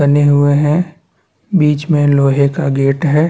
बने हुए है बिच में लोहे का गेट है।